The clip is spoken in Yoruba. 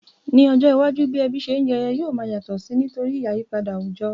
Ní ojó iwájú, bi ebí se n jeyo yio ma yàtò si nítorí àyípadà àwùjo